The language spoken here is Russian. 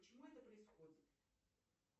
почему это происходит